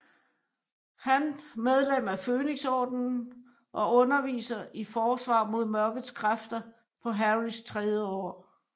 Han medlem af Fønixordenen og underviser i Forsvar mod Mørkets Kræfter på Harrys tredje år